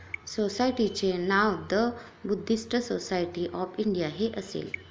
सोसायटीचे नाव the Buddhist Society of India हे असेल.